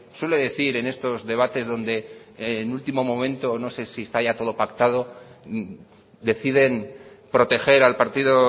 suele decir en estos debates donde en último momento no sé si está ya todo pactado deciden proteger al partido